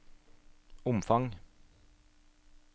omfang